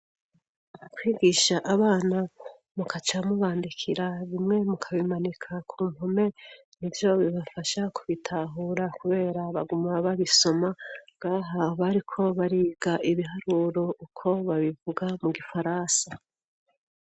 Kwigisha abana mugaca mubandikira bimwe mu kabimanika ku mpome, nivyo bibafasha kubitahura kubera baguma babisoma. Ngaha bariko bariga ibiharuro uko babivuga mu gifaransa.